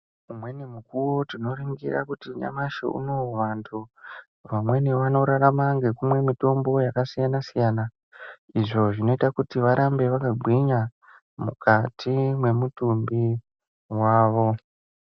Umweni mukuwo tinoringira kuti nyamashi unowu vantu vamweni vanorarama ngokumwe mitombo yakasiyana siyana izvo zvinoita kuti varambe vakagwinya mukati mwemutumbi wavo.